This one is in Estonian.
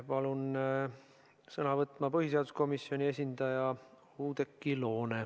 Palun sõna võtma põhiseaduskomisjoni esindaja Oudekki Loone!